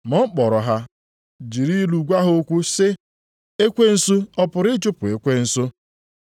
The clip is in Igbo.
Ma ọ kpọrọ ha jiri ilu gwa ha okwu sị, “Ekwensu ọ pụrụ ịchụpụ ekwensu?